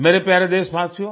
मेरे प्यारे देशवासियो